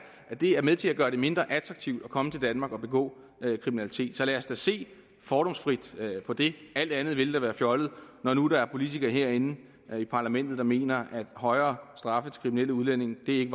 at det er med til at gøre det mindre attraktivt at komme til danmark og begå kriminalitet så lad os da se fordomsfrit på det alt andet ville da være fjollet når nu der er politikere herinde i parlamentet der mener at højere straffe til kriminelle udlændinge ikke